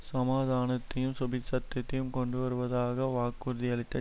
சமாதானத்தையும் சுபீட்சத்தையும் கொண்டு வருவதாக வாக்குறுதியளித்த